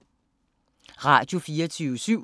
Radio24syv